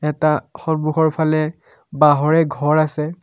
এটা সন্মুখৰফালে বাঁহৰে ঘৰ আছে।